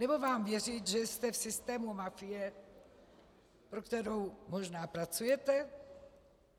Nebo mám věřit, že jste v systému mafie, pro kterou možná pracujete?